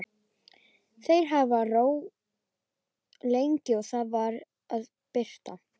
Þeir hafa róið lengi og Það er farið að birta.